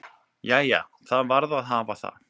"""Jæja, það varð að hafa það."""